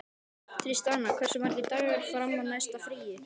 Tristana, hversu margir dagar fram að næsta fríi?